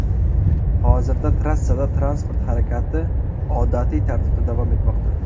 Hozirda trassada transport harakati odatiy tartibda davom etmoqda.